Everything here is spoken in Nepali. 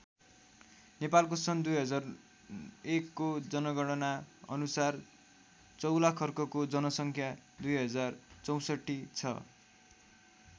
नेपालको सन् २००१ को जनगणना अनुसार चौलाखर्कको जनसङ्ख्या २०६४ छ।